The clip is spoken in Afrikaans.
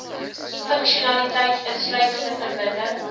funksionaliteit insluitend verbinding